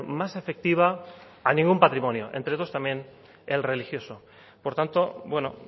más efectiva a ningún patrimonio entre dos también el religioso por tanto bueno